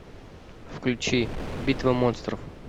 включи битва монстров